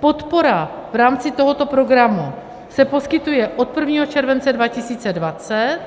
Podpora v rámci tohoto programu se poskytuje od 1. července 2020